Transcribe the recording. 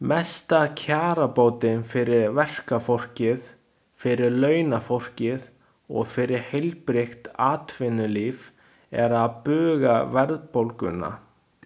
Mesta kjarabótin fyrir verkafólkið, fyrir launafólkið og fyrir heilbrigt atvinnulíf er að buga verðbólguna.